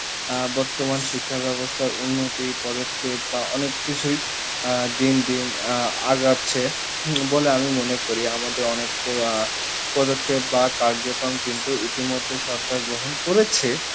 আহ বর্তমান শিক্ষা ব্যবস্থা উন্নতি পদক্ষেপ বা অনেক কিছুই আহ দিন দিন আহ আগাচ্ছে হুম বলে আমি মনে করি আমাদের অনেক আহ পদক্ষেপ বা কার্য কম কিন্তু ইতি মধ্যে সরকার গ্রহণ করেছে